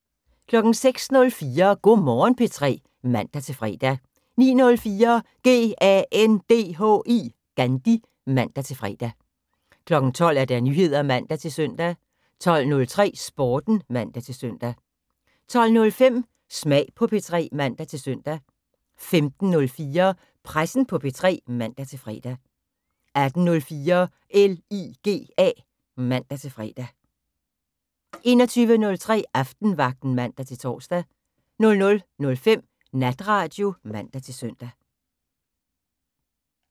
06:04: Go' Morgen P3 (man-fre) 09:04: GANDHI (man-fre) 12:00: Nyheder (man-søn) 12:03: Sporten (man-søn) 12:05: Smag på P3 (man-søn) 15:04: Pressen på P3 (man-fre) 18:04: LIGA (man-fre) 21:03: Aftenvagten (man-tor) 00:05: Natradio (man-søn)